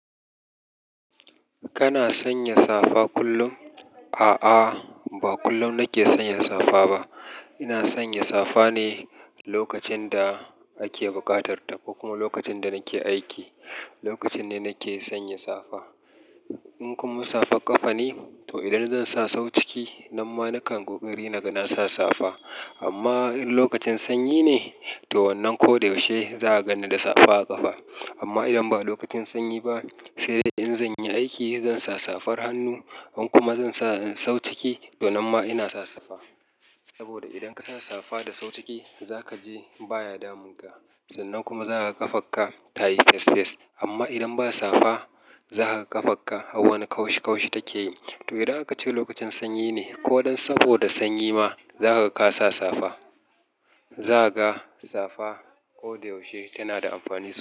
Kana sanya safa kullum? A'a, ba kullum nake sanya safa ba. Ina sanya safa ne lokacin da ake buƙatar ta, ko kuma lokacin da nake aiki, lokacin ne nake sanya safa. In kuma safar ƙafa ne, to idan zan sa sau ciki, nan ma nakan ƙoƙari naga na sa safa. Amma in lokacin sanyi ne, to wannan ko da yaushe za'a ganni da safa a ƙafa. Amma idan ba lokacin sanyi ba, sai dai in zan yi aiki, zan sa safar hannu. In kuma zan sa sau ciki, to nan ma ina sa safa. Saboda idan ka sa safa da sau ciki, za ka ji baya damun ka. Sannan kuma za ka ga ƙafarka tayi fes fes. Amma idan ba safa, za ka ga ƙafarka har wani kaushi kaushi take yi. To idan aka ce lokacin sanyi ne ko don saboda sanyi ma, za kaga ka sa safa. Za ka ga safa ko da yaushe tana da amfani.